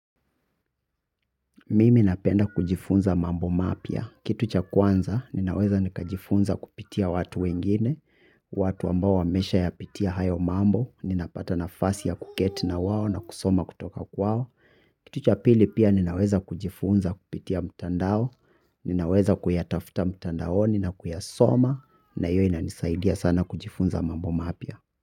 Mimi napenda kujifunza mambo mapya. Kitu cha kwanza ninaweza nikajifunza kupitia watu wengine, watu ambao wamesha yapitia hayo mambo, ninapata nafasi ya kuketi na wao na kusoma kutoka kwao. Kitu cha pili pia ninaweza kujifunza kupitia mtandao, ninaweza kuyatafta mtandaoni na kuyasoma na io inanisaidia sana kujifunza mambo mapya.